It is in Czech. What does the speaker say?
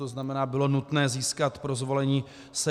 To znamená, bylo nutné získat pro zvolení 78 hlasů.